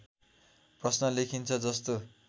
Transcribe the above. प्रश्‍न लेखिन्छ जस्तो